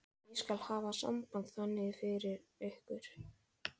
Ég skal hafa samband þangað fyrir ykkur.